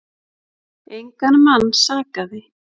Engan mann sakaði.